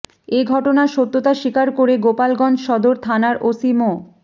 এ ঘটনার সত্যতা স্বীকার করে গোপালগঞ্জ সদর থানার ওসি মো